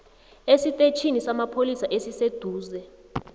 esitetjhini samapholisa esiseduze